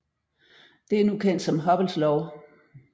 Det er nu kendt som Hubbles lov